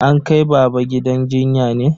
An kai baba gidan jinya ne?